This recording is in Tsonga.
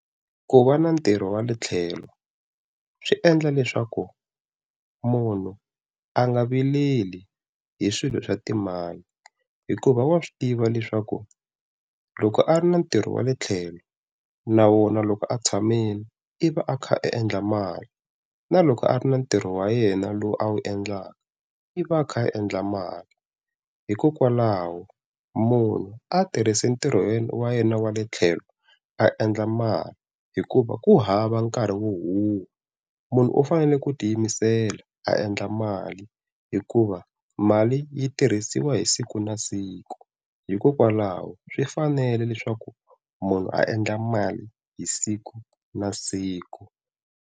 Ku va na ntirho wa le tlhelo swi endla leswaku munhu a nga vileli hi swilo swa timali, hikuva wa swi tiva leswaku loko a ri na ntirho wa le tlhelo na wona loko a tshamile i va a kha a endla mali, na loko a ri na ntirho wa yena lowu a wu endlaka i va a kha a endla mali. Hikokwalaho munhu a tirhisi ntirhweni wa yena wa le tlhelo a endla mali hikuva ku hava nkarhi wo huhwa. Munhu u fanele ku tiyimisela a endla mali hikuva mali yi tirhisiwa hi siku na siku, hikokwalaho swi fanele leswaku munhu a endla mali hi siku na siku.